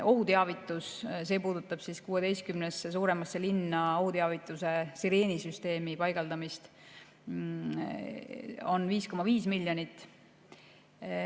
Ohuteavitusele, see puudutab 16 suuremasse linna ohuteavituse sireenisüsteemi paigaldamist, on 5,5 miljonit.